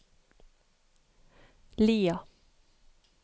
Lia